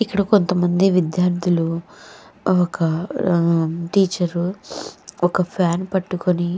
ఇక్కడ కొంతమంది విద్యార్థులు ఒక ఉహ్ టీచరు ఒక ఫ్యాన్ పట్టుకొని--